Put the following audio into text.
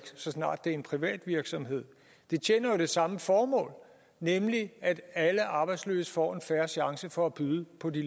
så snart det er en privat virksomhed det tjener jo det samme formål nemlig at alle arbejdsløse får en fair chance for at byde ind på de